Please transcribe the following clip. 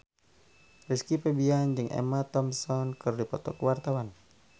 Rizky Febian jeung Emma Thompson keur dipoto ku wartawan